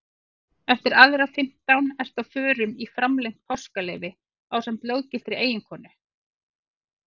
Eftir aðra fimmtán ertu á förum í framlengt páskaleyfi ásamt löggiltri eiginkonu.